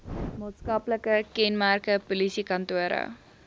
maatskaplike kenmerke polisiekantore